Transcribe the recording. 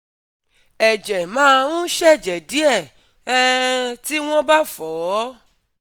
Ẹ̀jẹ̀ má ń ṣẹ̀jẹ̀ díẹ̀ um tí wọ́n bá fọ̀ ọ́